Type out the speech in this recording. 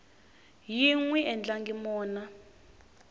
yi n wi endlangi mona